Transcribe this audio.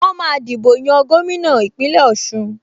Wọ́n máa dìbò yan gómìnà Ìpínlẹ̀ Ọ̀ṣun